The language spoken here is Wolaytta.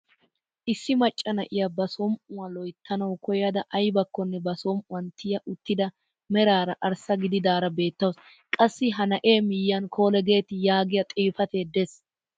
Issi macca na'iyaa ba som"uwaa loyttanawu koyada aybakkonne ba som"uwaani tiya uttida meraara arssa gididaara beettawus. qassi ha na'ee miyiyaan "colgate" yaagiyaa xifatee de'ees.